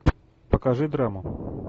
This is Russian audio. покажи драму